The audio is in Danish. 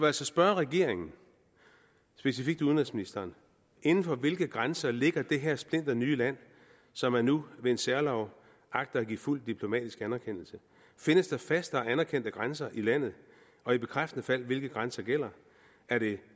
altså spørge regeringen specifikt udenrigsministeren inden for hvilke grænser ligger det her splinternye land som man nu ved en særlov agter at give fuld diplomatisk anerkendelse findes der faste og anerkendte grænser i landet og i bekræftende fald hvilke grænser gælder er det